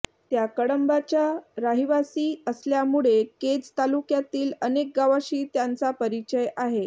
त्या कळंबच्या राहिवासी असल्यामुळे केज तालुक्यातील अनेक गावाशी त्यांचा परिचय आहे